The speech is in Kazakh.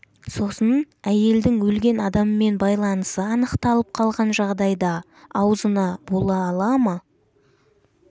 сосын әйелдің өлген адаммен байланысы анықталып қалған жағдайда аузына бола ала ма